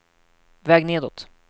väg nedåt